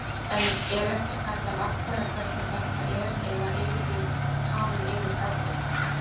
En er ekkert hægt að lagfæra hvernig þetta er eða eruð þið hafin yfir gagnrýni?